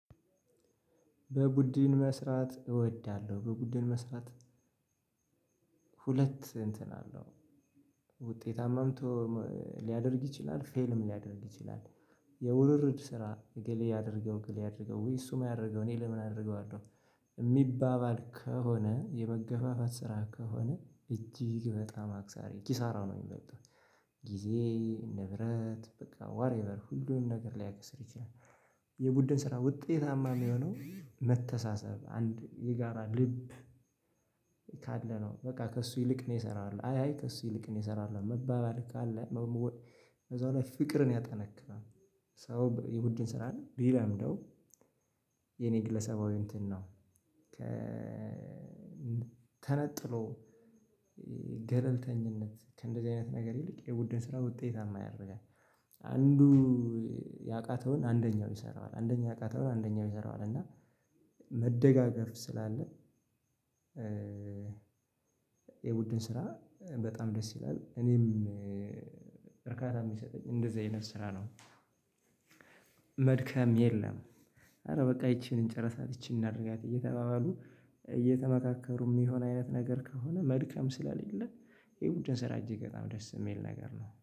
በቡድን መስራት እወዳለሁ። በቡድን መስራት ሁለት እንትን አለው ውጤታማምቶ ሊያደርግ ይችላል ፌልም ሊያደርግ ይችላል። የውርርድ ስራ እገሌ ያድርገው እገሌ አያድርገው ውይ እሱማ ያድርገው እኔ ለምን አደርገዋለሁ። የሚባባል ከሆነ የመገፋፋት ስራ ከሆነ እጅግ በጣም አክሳሪ ኪሳራ ነው የሚበልጠው። ጊዜ ንብረት በቃ ዋትኤቨር ሁሉንም ነገር ሊያከስር ይችላል። የቡድን ስራ ውጤታማ የሚሆነው መተሳሰብ አንድ የጋራ ልብ ካለ ነው። በቃ ከእሱ ይልቅ እኔ እሰራዋለሁ አይ አይ ከሱ ይልቅ እኔ እሰራለሁ መባባል ካለ። ከዛ በኋላ ፍቅርን ያጠነክራል። ሰው የቡድን ስራን ቢለምደው የኔ ግለሰባዊ እንትን ነው። ከተነጥሎ ገለልተኝነት ከእንደዚህ አይነት ነገር ይልቅ የቡድን ስራ ውጤታማ ያደርጋል። አንዱ ያቃተውን አንደኛው ይሰራዋል አንደኛው ያቃተውን አንደኛው ይሰራዋል እና መደጋገፍ ስላለ። የቡድን ስራ በጣም ደስ ይላል። እኔም እርካታ የሚሰጠኝ እንደዚህ አይነት ስራ ነው። መድከም የለም ኧረ በቃ ይቺን ጨርሳ ይቺን እናድርጋት እየተባባሉ እየተመካከሩ የሚሆን አይነት ነገር ከሆነ መድከም ስለሌለ። ይሄ ቡድን ስራ እጅግ በጣም ደስ የሚል ነገር ነው